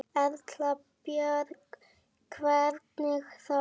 Erla Björg: Hvernig þá?